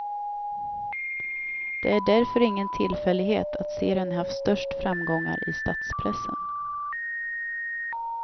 Det är därför ingen tillfällighet att serien haft störst framgångar i stadspressen.